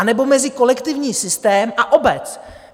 Anebo mezi kolektivní systém a obec?